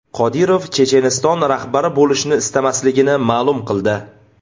Qodirov Checheniston rahbari bo‘lishni istamasligini ma’lum qildi.